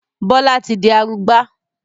Bọlá tí di arugbá